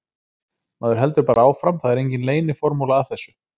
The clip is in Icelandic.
Maður heldur bara áfram, það er engin leyniformúla að þessu.